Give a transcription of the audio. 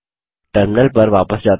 terminal पर वापस जाते हैं